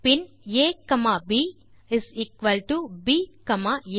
bin a comma b is equal to b comma ah